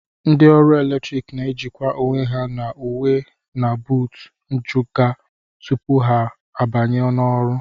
Ndị ọrụ eletrik na-ejikwa onwe ha n'uwe na buutu njụga tupu ha abanye n'ọrụ